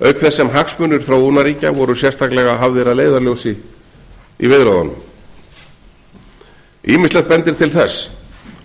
auk þess sem hagsmunir þróunarríkja voru sérstaklega hafðir að leiðarljósi í viðræðunum ýmislegt bendir til þess